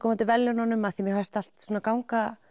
á móti verðlaununum því mér fannst allt ganga